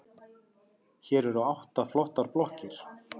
Hér eru átta flottar blokkir.